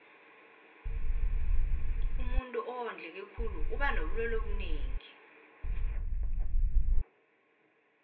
umuntuu owondleke khulu uba nobulelwe obunengi